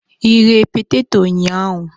Ighe peteto ụnyahụ?